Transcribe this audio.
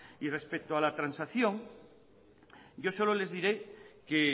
y respecto a la transacción yo solo les diré que